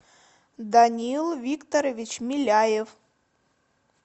данил викторович миляев